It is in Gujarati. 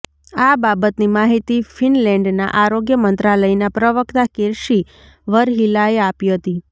આ બાબતની માહિતી ફિનલેન્ડના આરોગ્ય મંત્રાલયનાં પ્રવક્તા કિર્સી વરહિલાએ આપી હતી